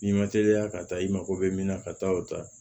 N'i ma teliya ka taa i mako bɛ min na ka taa o ta